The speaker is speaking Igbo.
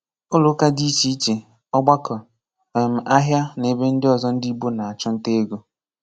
ụlọụka dị iche iche, ọgbakọ, um ahịa na ebe ndị ọzọ ndị Igbo na-achụ nta ego